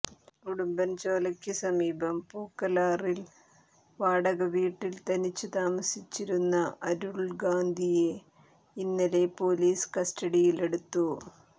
ഉടുമ്പൻചോലക്ക് സമീപം പൂക്കലാറിൽ വാടക വീട്ടിൽ തനിച്ച് താമസിച്ചിരുന്ന അരുൾഗാന്ധിയെ ഇന്നലെ പൊലീസ് കസ്റ്റഡിയിൽ എടുത്തു